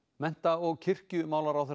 mennta og kirkjumálaráðherra